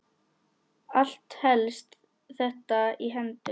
Allt helst þetta í hendur.